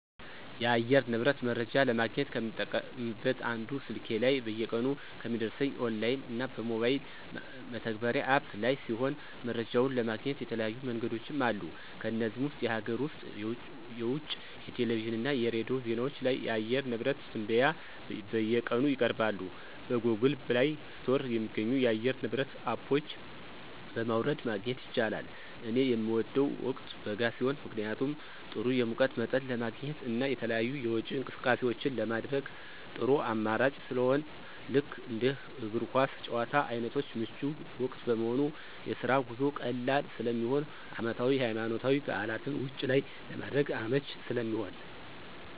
የአየር ንብረት መረጃ ለማግኘት ከምጠቀምበት አንዱ ስልኬ ላይ በየቀኑ ከሚደርሰኝ የኦንላይን እና በሞባይል መተግበሪያ (አፕ) ላይ ሲሆን መረጃውን ለማግኘት የተለያዩ መንገዶችም አሉ ከነዚህም ውስጥ የሀገር ውስጥ (የውጭ) የቴሌቪዥን እና የሬዲዮ ዜናዎች ላይ የአየር ንብረት ትንበያ በየቀኑ ይቀርባሉ። በGoogle Play ስቶር የሚገኙ የአየር ንብረት አፖች በማውረድ ማግኘት ይቻላል። ለኔ ምወደው ወቅት በጋ ሲሆን ምክንያቱም ጥሩ የሙቀት መጠን ለማግኘት እና የተለያዩ የውጪ እንቅስቃሴዎችን ለማድረግ ጥሩ አማራጭ ስለሆነ ልክ እንደ እግር ኳስ ጭዋታ አይነቶች ምቹ ወቅት በመሆኑ፣ የስራ ጉዞ ቀላል ስለሚሆን፣ አመታዊ የሀይማኖታዊ በዓላትን ውጭ ላይ ለማድረግ አመቺ ስለሚሆን።